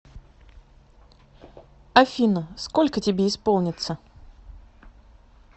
афина сколько тебе исполнится